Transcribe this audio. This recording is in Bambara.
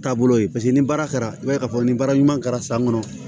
Taabolo ye paseke ni baara kɛra i b'a ye k'a fɔ ni baara ɲuman kɛra san kɔnɔ